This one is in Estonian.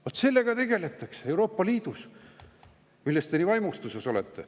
Vot sellega tegeletakse Euroopa Liidus, millest te nii vaimustuses olete.